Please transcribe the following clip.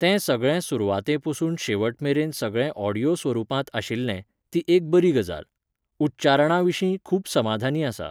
तें सगळें सुरवाते पसून शेवट मेरेन सगळें ऑडीयो स्वरुपांत आशिल्लें, ती एक बरी गजाल. उच्चारणाविशीं खूब समाधानी आसा.